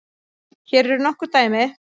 Hér eru nokkur dæmi